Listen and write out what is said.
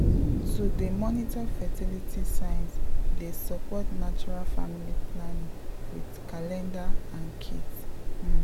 to dey monitor fertility signs dey support natural family planning with calendar and kits um.